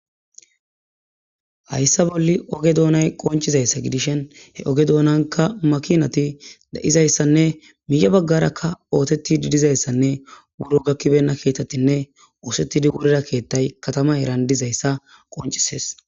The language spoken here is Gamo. Haysa bolli oge dunay qoncidasa gidishin issi oge dunanika makinati de'izaysanne miye bagaraka othetidi de'izaysanne buro gakibeyna kethatinne othetidi wurida kethati matama heran dizaysa qoncises.